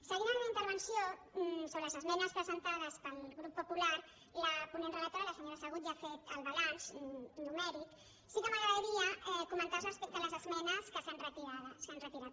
seguint la meva intervenció sobre les esmenes presentades pel grup popular la ponent relatora la senyora segú ja ha fet el balanç numèric sí que m’agradaria comentar respecte a les esmenes que s’han retirat